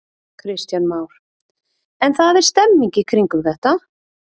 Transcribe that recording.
Kristján Már: En það er stemning í kringum þetta?